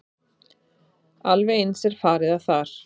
Alveg eins er farið að þar.